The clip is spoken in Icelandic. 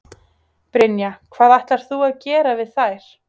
Brynja: Hvað ætlar þú að gera við þær?